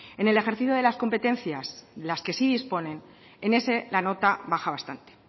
en el ejercicio de las competencias de las que sí disponen en ese la nota baja bastante